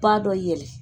Ba dɔ yɛlɛ